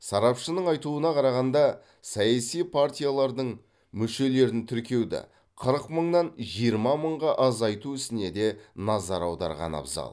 сарапшының айтуына қарағанда саяси партиялардың мүшелерін тіркеуді қырық мыңнан жиырма мыңға азайту ісіне де назар аударған абзал